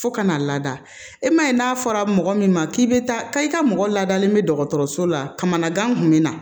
Fo ka na lada e man ye n'a fɔra mɔgɔ min ma k'i bɛ taa ka i ka mɔgɔ laadalen bɛ dɔgɔtɔrɔso la kamana gan kun bɛ na